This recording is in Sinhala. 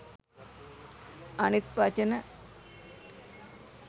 අනිත් වචන